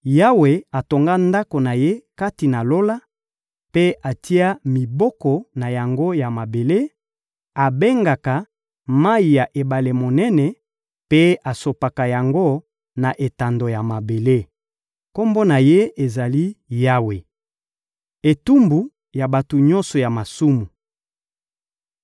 Yawe atonga ndako na Ye kati na Lola mpe atia miboko na yango na mabele; abengaka mayi ya ebale monene mpe asopaka yango na etando ya mabele. Kombo na Ye ezali: Yawe. Etumbu ya bato nyonso ya masumu